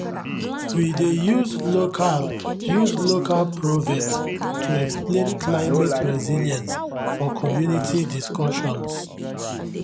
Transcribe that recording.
we dey use local use local proverbs to explain climate resilience for community discussions